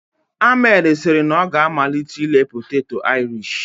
Ahmed siri na ọ ga-amalite ire poteto Irish